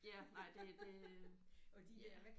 Ja nej det det øh ja